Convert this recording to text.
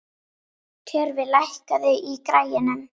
Tjörfi, lækkaðu í græjunum.